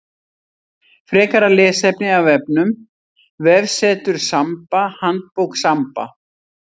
Frekara lesefni af vefnum: Vefsetur Samba Handbók Samba.